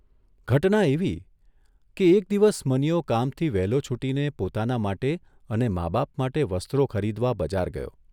ઘટના એવી કે એક દિવસ મનીયો કામથી વહેલો છૂટીને પોતાના માટે અને મા બાપ માટે વસ્ત્રો ખરીદવા બજાર ગયો.